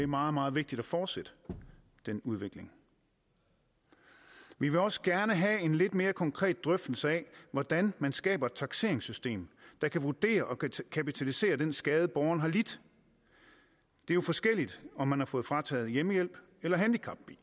meget meget vigtigt at fortsætte den udvikling vi vil også gerne have en lidt mere konkret drøftelse af hvordan man skaber et takseringssystem der kan vurdere og kapitalisere den skade borgeren har lidt det er jo forskelligt om man har fået frataget hjemmehjælp eller handicapbil